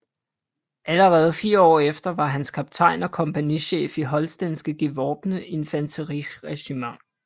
Allerede fire år efter var han kaptajn og kompagnichef i Holstenske gevorbne Infanteriregiment